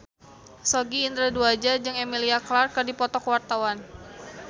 Sogi Indra Duaja jeung Emilia Clarke keur dipoto ku wartawan